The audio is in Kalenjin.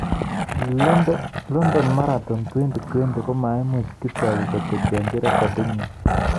London Marathon 2020: Maimuch Kipchoge koteteanchi rekidinyi